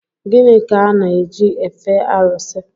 Gịnị ka a na-eji efe arụsị?